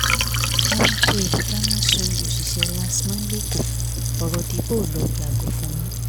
awakọ̀ èrò dáná sun òṣìṣẹ́ rstma lẹ́kọ ọ̀rọ̀ di bóolọ yàgò fún mi